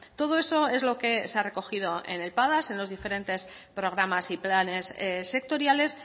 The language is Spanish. todo eso es lo que se ha recogido en el padas en los diferentes programas y planes sectoriales